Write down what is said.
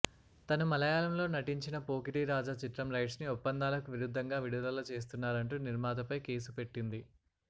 తను మళయాళంలో నటించిన పోకిరిరాజా చిత్రం రైట్స్ ని ఒప్పందాలకు విరుద్దంగా విడుదల చేస్తున్నారంటూ నిర్మాత పై కేసు పెట్టింది